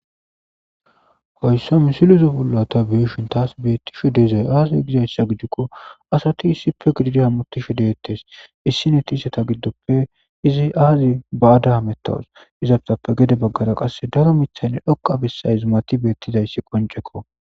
Asati issi bolla giididi hamutettes,izeta giddoppe issiniya ay qommoti ekkada bazesha